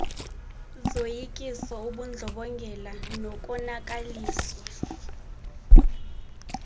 zoyikiso ubundlobongela nokonakaliswa